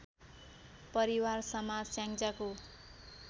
परिवार समाज स्याङ्जाको